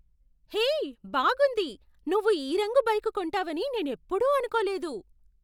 హే, బాగుంది! నువ్వు ఈ రంగు బైక్ కొంటావని నేనెప్పుడూ అనుకోలేదు.